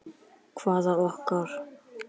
Hvaða okkar?